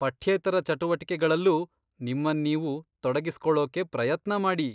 ಪಠ್ಯೇತರ ಚಟುವಟಿಕೆಗಳಲ್ಲೂ ನಿಮ್ಮನ್ನೀವು ತೊಡಗಿಸ್ಕೊಳೋಕೆ ಪ್ರಯತ್ನ ಮಾಡಿ.